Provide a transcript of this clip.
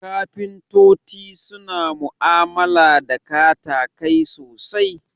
Kafintoti suna mu'amala da katakai sosai